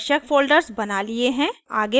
अब हमने आवश्यक फ़ोल्डर्स बना लिए हैं